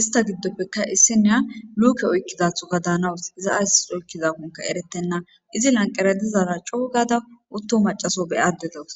ista giddoppekka issineya luke oykkizathoka daanawus iza ayss oykkizakonka eretenna izi lanqeratizara cougada utto macaso be addedos